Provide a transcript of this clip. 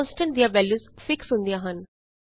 constant ਦੀਆਂ values fix ਹੁੰਦੀਆਂ ਹਨ